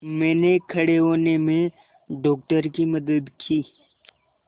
मैंने खड़े होने में डॉक्टर की मदद की